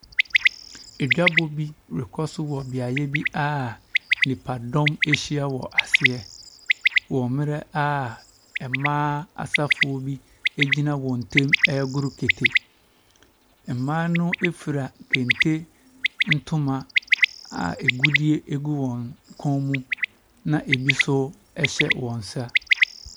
Dwabɔ bi rekɔ so wɔ beaeɛ bi a nnipadɔm ahyia wɔ aseɛ wɔ mmerɛ a mmaa asafoɔ bi gyina wɔn ntam regoro kete. Mmaa no fira kente ntoma a agudeɛ gu wɔn kɔn mu, ne bi nso hyɛ wɔn nsa.